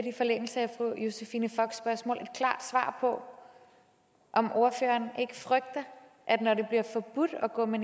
i forlængelse af fru josephine focks spørgsmål et klart svar på om ordføreren ikke frygter når det bliver forbudt at gå med